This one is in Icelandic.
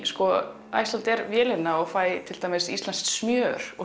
Icelandair vélina og fæ til dæmis íslenskt smjör og